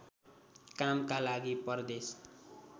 कामका लागि परदेश